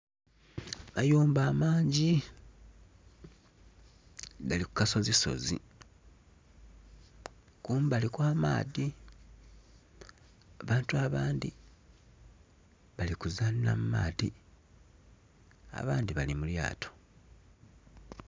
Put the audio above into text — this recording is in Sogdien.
Amayumba amangi gali ku kasozi sozi kumbali kwa maadhi. Abantu abadhi bali kuzanhira mu maadhi abandhi bali mu lyato.